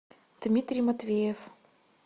дмитрий матвеев